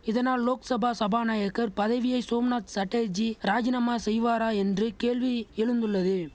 இதனால் லோக்சபா சபாநாயகர் பதவியை சோம்நாத் சட்டர்ஜி ராஜினாமா செய்வாரா என்று கேள்வி எழுந்துள்ளது